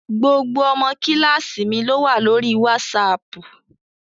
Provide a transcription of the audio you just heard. Gbogbo ọmọ kíláàsì mi ló wà lórí wásaaàpù